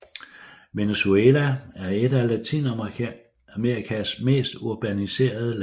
Venezuela er et af Latinamerikas mest urbaniserede lande